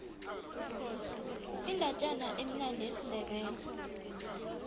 indatjana emnandi yesindebele